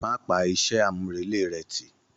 Má pa iṣẹ́ àmúrelé rẹ̀ tì.